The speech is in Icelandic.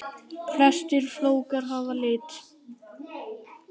Flestir flókar hafa lit.